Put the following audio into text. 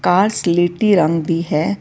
ਕਾਰ ਸਲੇਟੀ ਰੰਗ ਦੀ ਹੈ।